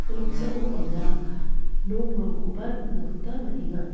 ia noksao anga nokrangkoba nikna gita man·enga.